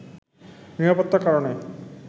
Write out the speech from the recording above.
নিরাপত্তার কারণে